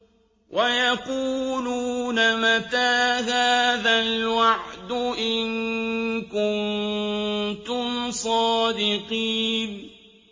وَيَقُولُونَ مَتَىٰ هَٰذَا الْوَعْدُ إِن كُنتُمْ صَادِقِينَ